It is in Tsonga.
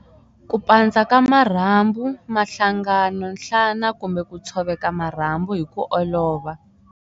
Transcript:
Ku pandza ka marhambu, mahlangano, nhlana kumbe ku tshoveka marhambu hi ku olova.